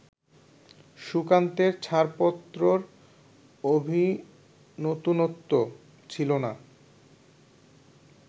সুকান্তের ছাড়পত্রর অভিনতুনত্ব ছিল না